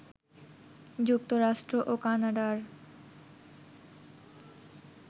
যুক্তরাষ্ট্র ও কানাডার